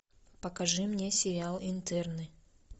покажи мне сериал интерны